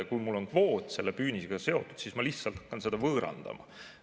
Kui mul on kvoot püünisega seotud, siis ma lihtsalt pean seda võõrandama.